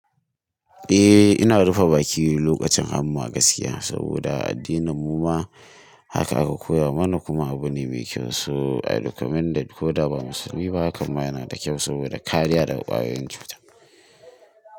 Eh, ina rufe baki lokacin hamma gaskiya saboda a addinin mu ma haka aka koya mana kuma abu ne mai kyau. So I recommend that ko da ba musulmi ba hakan ma yana da kyau saboda kariya daga kwayoyin cuta.